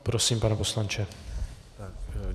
Prosím, pane poslanče.